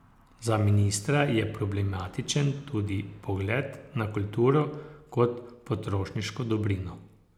Za ministra je problematičen tudi pogled na kulturo kot potrošniško dobrino.